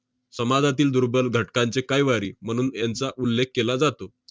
समाजातील दुर्बल घटकांचे कैवारी म्हणून यांचा उल्लेख केला जातो.